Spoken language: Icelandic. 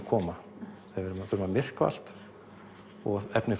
koma við þurfum að myrkva allt og efnið